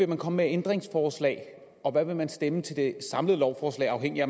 vil komme med af ændringsforslag og hvad man vil stemme til det samlede lovforslag afhængigt af